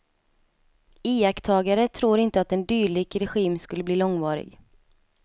Iakttagare tror inte att en dylik regim skulle bli långvarig.